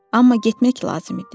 Amma getmək lazım idi.